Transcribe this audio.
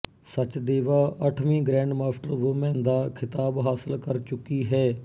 ਸਚਦੇਵਾ ਅੱਠਵੀਂ grandmaster woman ਦਾ ਖਿਤਾਬ ਹਾਸਿਲ ਕਰ ਚੁੱਕੀ ਹੈ